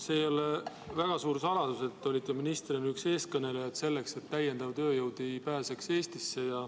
See ei ole väga suur saladus, et te olite ministrina üks eestkõnelejaid selles, et täiendav tööjõud ei pääseks Eestisse.